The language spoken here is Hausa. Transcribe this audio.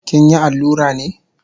Kinyi allura ne?